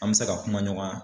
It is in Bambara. An mɛ se ka kuma ɲɔgɔnya.